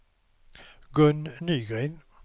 Gun Nygren